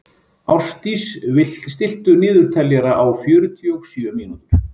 Ástdís, stilltu niðurteljara á fjörutíu og sjö mínútur.